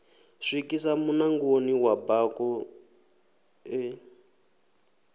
swikisa munangoni wa bako ḽe